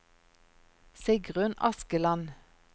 Sigrunn Askeland